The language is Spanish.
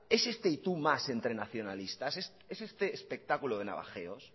es este y tú más entre nacionalistas es este espectáculo de navajeros